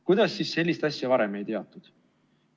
Kuidas sellist asja varem ei teatud?